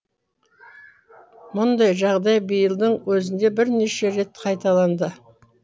мұндай жағдай биылдың өзінде бірнеше рет қайталанды